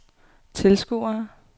tilskuere